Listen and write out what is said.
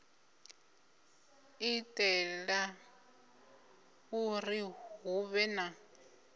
itela uri hu vhe na